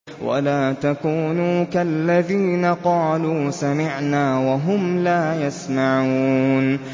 وَلَا تَكُونُوا كَالَّذِينَ قَالُوا سَمِعْنَا وَهُمْ لَا يَسْمَعُونَ